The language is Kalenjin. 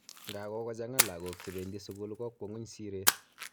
Nga kokochang'a lagok che bendi sukul kokwong'uny siret